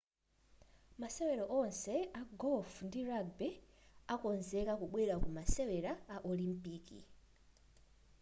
masewero onse a golf ndi rugby akonzeka kubwerera ku masewera a olimpiki